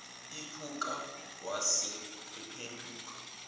iphuka wase ephenduka